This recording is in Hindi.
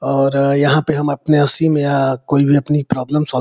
और यहाँ पे हम अपने या कोई भी अपनी प्रोब्लम सॉल्व --